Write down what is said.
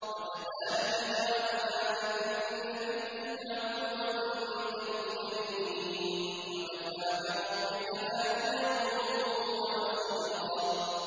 وَكَذَٰلِكَ جَعَلْنَا لِكُلِّ نَبِيٍّ عَدُوًّا مِّنَ الْمُجْرِمِينَ ۗ وَكَفَىٰ بِرَبِّكَ هَادِيًا وَنَصِيرًا